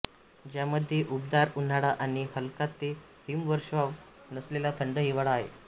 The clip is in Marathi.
ज्यामध्ये उबदार उन्हाळा आणि हलका ते हिमवर्षाव नसलेला थंड हिवाळा आहे